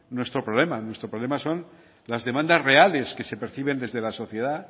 nuestro problema nuestros problemas son las demandas reales que se perciben desde la sociedad